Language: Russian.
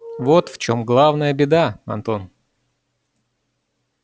вот в чем главная беда антон